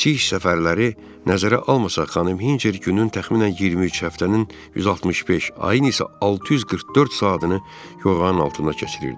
Bu kiçik səfərləri nəzərə almasaq, xanım Hinçer günün təxminən 23, həftənin 165, ayın isə 644 saatını yoğanın altında keçirirdi.